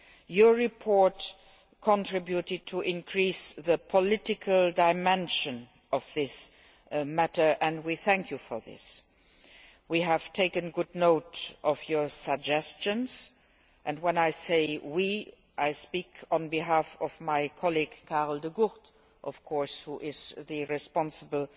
Your report contributed to increasing the political dimension of this matter and we thank you for this. We have taken good note of your suggestions, and when I say we', I speak on behalf of my colleague Karel De Gucht, of course, who is the Commissioner responsible